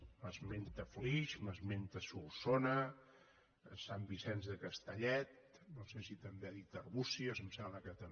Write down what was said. m’esmenta flix m’esmenta solsona sant vicenç de castellet no sé si també ha dit arbúcies em sembla que també